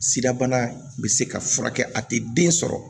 Sida bana bɛ se ka furakɛ a tɛ den sɔrɔ